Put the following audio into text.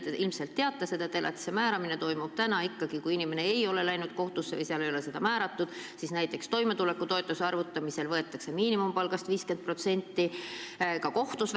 Te ilmselt teate, et elatisraha määramine toimub praegu ikka nii, et kui inimene ei ole läinud kohtusse või kohtus ei ole seda määratud, siis võetakse näiteks toimetulekutoetuse arvutamisel aluseks 50% miinimumpalgast.